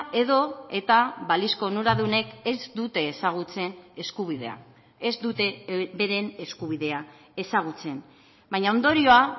edo eta balizko onuradunek ez dute ezagutzen eskubidea ez dute beren eskubidea ezagutzen baina ondorioa